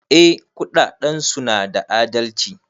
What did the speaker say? Eh kudadensu na da adalci.